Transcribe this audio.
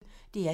DR P1